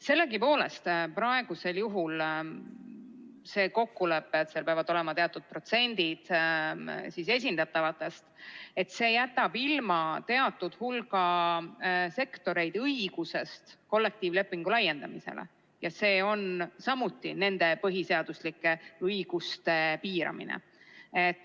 Sellegipoolest jätab praegusel juhul see kokkulepe, et teatud esindatavate protsendid peavad olema täidetud, teatud hulga sektoreid kollektiivlepingu laiendamise õigusest ilma ja see on samuti nende põhiseaduslike õiguste piiramine.